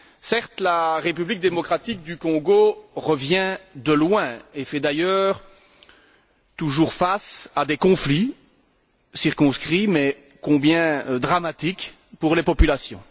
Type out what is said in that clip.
Certes, la République démocratique du Congo revient de loin et est d'ailleurs toujours en proie à des conflits, circonscrits mais combien dramatiques pour les populations.